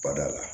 Bada la